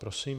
Prosím.